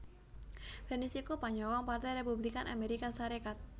Bernice iku panyokong Partai Républikan Amérika Sarékat